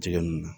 Jɛgɛ nun na